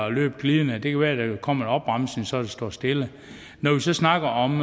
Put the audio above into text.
at løbe glidende det kan være der kommer en opbremsning så det står stille når vi så snakker om